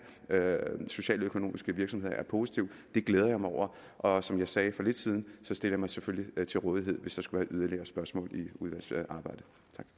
socialøkonomiske virksomheder er positivt det glæder jeg mig over og som jeg sagde for lidt siden så stiller jeg mig selvfølgelig til rådighed hvis der skulle være yderligere spørgsmål i udvalgsarbejdet